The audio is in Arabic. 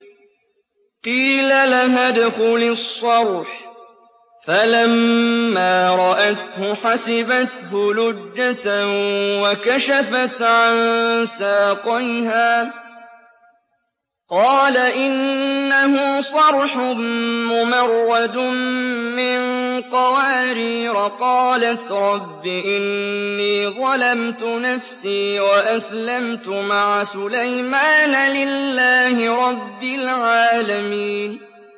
قِيلَ لَهَا ادْخُلِي الصَّرْحَ ۖ فَلَمَّا رَأَتْهُ حَسِبَتْهُ لُجَّةً وَكَشَفَتْ عَن سَاقَيْهَا ۚ قَالَ إِنَّهُ صَرْحٌ مُّمَرَّدٌ مِّن قَوَارِيرَ ۗ قَالَتْ رَبِّ إِنِّي ظَلَمْتُ نَفْسِي وَأَسْلَمْتُ مَعَ سُلَيْمَانَ لِلَّهِ رَبِّ الْعَالَمِينَ